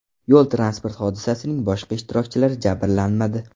Yo‘l-transport hodisasining boshqa ishtirokchilari jabrlanmadi.